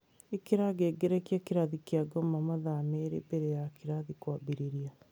Ĩkĩra ngengerekĩa kĩrathi kĩa ngoma mathaa merĩ mbere ya kĩrathi kwambĩrĩria